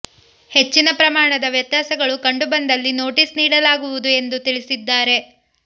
ಹೆಚ್ಚಿನ ಪ್ರಮಾಣದ ವ್ಯತ್ಯಾಸಗಳು ಕಂಡು ಬಂದಲ್ಲಿ ನೋಟಿಸ್ ನೀಡಲಾಗುವುದು ಎಂದು ತಿಳಿಸಿದ್ದಾರೆ